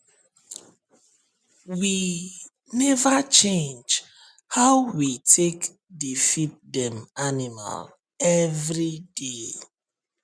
we never change how we take dey feed dem animal every day